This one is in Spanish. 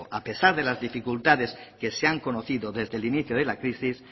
a pesar de las dificultades que se han conocido desde el inicito de la crisis